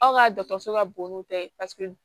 Aw ka dɔkɔtɔrɔso ka bon n'u bɛɛ ye paseke